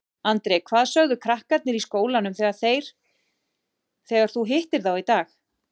Andri: Hvað sögðu krakkarnir í skólanum þegar þeir, þegar þú hittir þá í dag?